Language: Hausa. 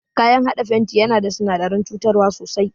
Kayan haɗa fenti yana da sinadaran cutar sosai.